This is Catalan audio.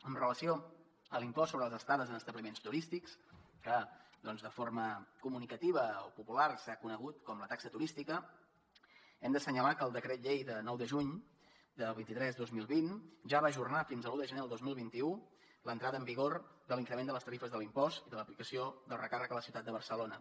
en relació amb l’impost sobre les estades en establiments turístics que doncs de forma comunicativa o popular s’ha conegut com la taxa turística hem d’assenyalar que el decret llei de nou de juny el vint tres dos mil vint ja va ajornar fins a l’un de gener del dos mil vint u l’entrada en vigor de l’increment de les tarifes de l’impost i de l’aplicació del recàrrec a la ciutat de barcelona